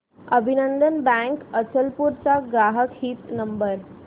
अभिनंदन बँक अचलपूर चा ग्राहक हित नंबर